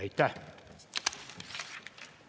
Aitäh!